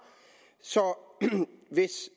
hvis